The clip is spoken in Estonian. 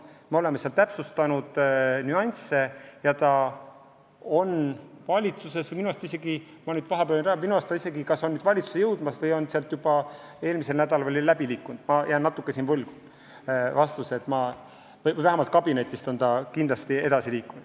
Me oleme täpsustanud nüansse ja eelnõu on nüüd valitsuses.